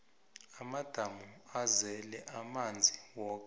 amadamu azele amanzi woke